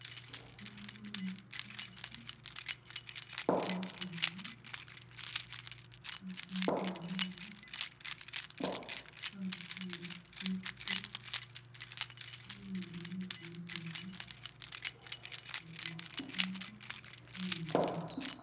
Naboone umukhasi ni umusaani, umukhasi ali ni i'bag khabakenda khu lugudo luli hambi ni kimisaala ni lukongo...